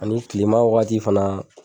Ani kilema wagati fana